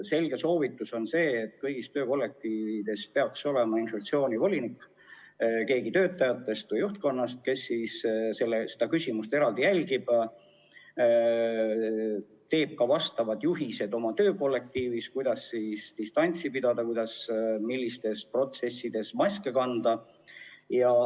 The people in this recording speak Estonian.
Selge soovitus on see, et kõigis töökollektiivides peaks olema infektsioonivolinik – keegi töötajatest või juhtkonnast, kes seda küsimust eraldi jälgib ja koostab oma töökollektiivile ka juhised, kuidas distantsi hoida ja milliste protseduuride korral maske kanda.